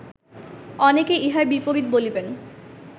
অনেকে ইহার বিপরীত বলিবেন